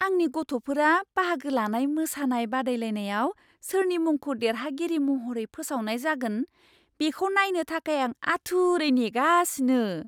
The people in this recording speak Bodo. आंनि गथ'फोरा बाहागो लानाय मोसानाय बादायलायनायाव सोरनि मुंखौ देरहागिरि महरै फोसावनाय जागोन, बेखौ नायनो थाखाय आं आथुरै नेगासिनो!